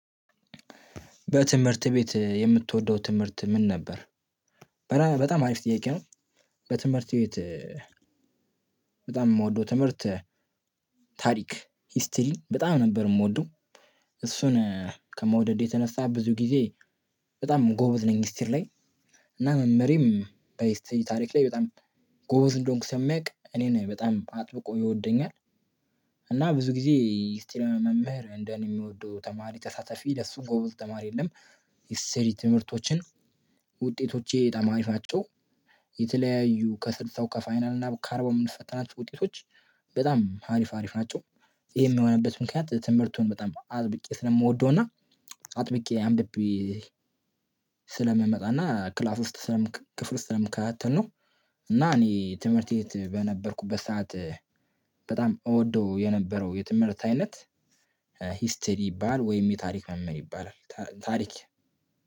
በትምህርት ቤት የምትወደው ትምህርት ምን ነበር? በጣም አሪፍ ጥያቄ ነው። በትምህርት ቤት በጣም የምወደው ትምህርት ታሪክ ሂስትሪ በጣም ነበር የምወደው። እሱን ከመውደዴ የተነሳ ብዙ ጊዜ በጣም ጎበዝ ነኝ ሂስትሪ ላይ። እና መምህሬም በሂስትሪ ታሪክ ላይ በጣም ጎበዝ እንደሆንኩ ስለሚያውቅ እኔን በጣም አጥብቆ ይወደኛል። እና ብዙ ጊዜ ሂስትሪ መምህር እንደኔ የሚወደው ተማሪ ተሳታፊ ለሱ ጎበዝ ተማሪ የለም። ሂስትሪ ትምህርቶችን ውጤቶቼ በጣም አሪፋቸው። የተለያዩ ከስልሳው ከፋይናል እና ከአርቢው የምንፈተናቸው ውጤቶች በጣም አሪፍ አሪፍ ናቸው። ይሄ የሚሆንበት ምክንያት ትምህርቱን በጣም አጥብቄ ስለምወደው እና አጥብቄ አንብቤ ስለምመጣ እና ክላስ ውስጥ ስለምከታተል ነው። እና እኔ ትምህርት ቤት በነበርኩበት ሰዓት በጣም እወደው የነበረው የትምህርት አይነት ሂስተር ይባላል ወይም የታሪክ መምህር ይባላል ታሪክ።